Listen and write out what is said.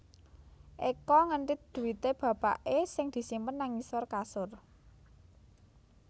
Eko ngentit dhuwite bapake sing disimpen nang ngisor kasur